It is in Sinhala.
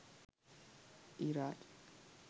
iraj